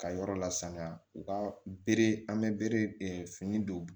Ka yɔrɔ lasanya u ka bere an bɛ bere fini don